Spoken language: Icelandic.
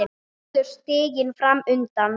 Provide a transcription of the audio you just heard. Allur stiginn fram undan.